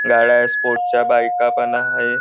गाड्या स्पोर्ट्स च्या बाईका पण आहे.